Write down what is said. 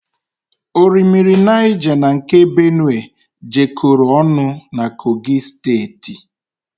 Orimmiri Niger na nke Benue jekoro ọnụ na Kogi steeti